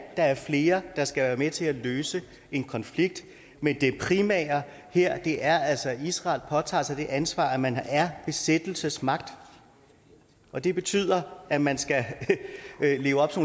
der er flere der skal være med til at løse en konflikt men det primære her er altså at israel også påtager sig det ansvar af at man er besættelsesmagt og det betyder at man skal leve op til